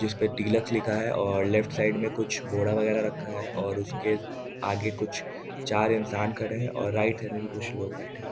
जिस पे टीलक्स लिखा है और लेफ्ट साइड में कुछ घोड़ा वगैरह रखा है और उसके आगे कुछ चार इंसान खड़े हैं और राइट हैंड में भी कुछ लोग बैठे हैं ।